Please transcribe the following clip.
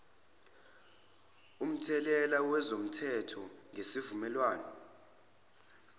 umthelela wezomthetho ngesivumelwane